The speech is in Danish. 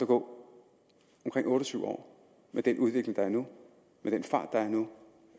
gå omkring otte og tyve år med den udvikling der er nu med den fart der er nu